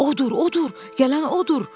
Odur, odur, gələn odur.